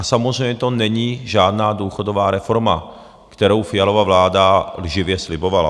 A samozřejmě to není žádná důchodová reforma, kterou Fialova vláda lživě slibovala.